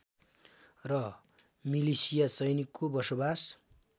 र मिलिसिया सैनिकको बसोबास